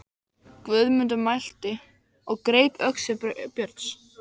Guðmundur mælti og greip öxi Björns.